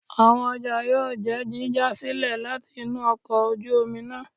Awọn ọja yóò jẹ jíja silẹ latí inú ọkọ ojú omí náá